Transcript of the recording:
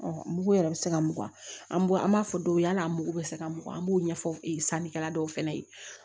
mugu yɛrɛ bɛ se ka mugan an b'a an b'a fɔ dɔw ye yala an mugu bɛ se ka mugan an b'o ɲɛfɔ e ye sanni kɛla dɔw fɛnɛ ye